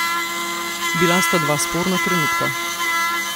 Bila sta dva sporna trenutka.